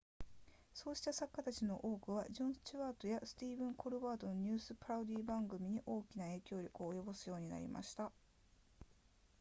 そうした作家たちの多くはジョンスチュワートやスティーブンコルバートのニュースパロディ番組に大きな影響力を及ぼすようになりました